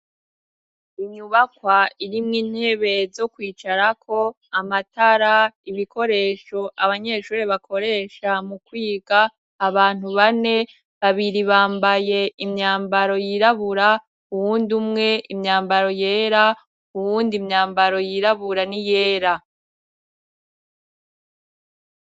Inyubakwa irimwo intebe zo kwicarako, amatara, ibikoresho abanyeshuri bakoresha mu kwiga, abantu bane, babiri bambaye imyambaro yirabura uwundi umwe imyambaro yera, uwundi imyambaro yirabura ni yera.